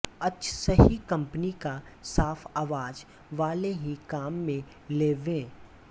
अचसहि company का साफ आवाज वाले ही काम में लेवें